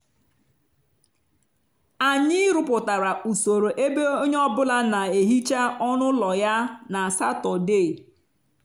anyị rụpụtara usoro ebe onye ọ bụla na-ehicha ọnụ ụlọ ya na satọde